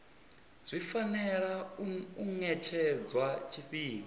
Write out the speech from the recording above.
zwi fanela u ṅetshedzwa tshifhinga